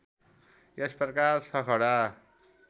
यस प्रकार सखडा